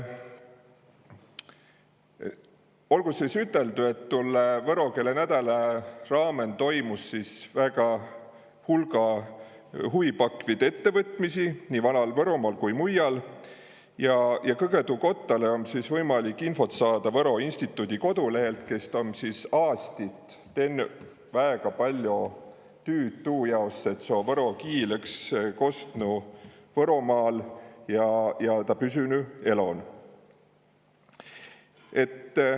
Olgu sõs üteldu, et tollõ võro keele nädäla raamõn toimus sõs väega hulga huvipakvit ettevõtmisi nii Vanal-Võromaal kui ka mujjal ja kõgõ tuu kottalõ om võimalik infot saada Võro Instituudi kodolehelt, kes om sis aastit tennü väega paljo tüüd tuu jaos, et võro kiil õks kostnu Võromaal ja ta püsünü elon.